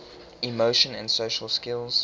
emotion and social skills